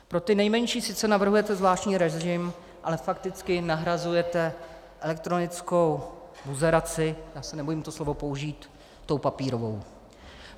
Pro ty nejmenší sice navrhujete zvláštní režim, ale fakticky nahrazujete elektronickou buzeraci, já se nebojím to slovo použít, tou papírovou.